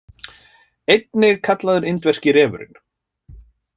Einnig kallaður indverski refurinn.